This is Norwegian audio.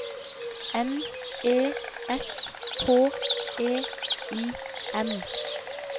N E S H E I M